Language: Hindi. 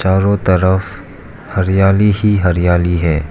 चारो तरफ हरियाली ही हरियाली है।